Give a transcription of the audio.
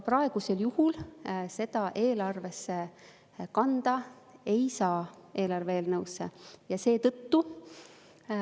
Praegusel juhul seda eelarve eelnõusse kanda ei saa.